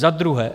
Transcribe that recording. Za druhé.